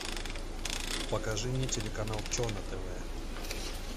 покажи мне телеканал че на тв